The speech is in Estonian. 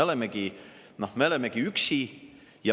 Me olemegi üksi.